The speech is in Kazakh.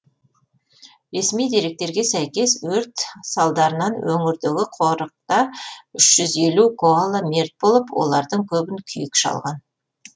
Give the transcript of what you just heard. ресми деректерге сәйкес өрт салдарынан өңірдегі қорықта үш жүз елу коала мерт болып олардың көбін күйік шалған